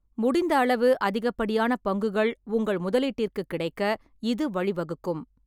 முடிந்த அளவு அதிகப்படியான பங்குகள் உங்கள் முதலீட்டிற்குக் கிடைக்க இது வழி வகுக்கும்.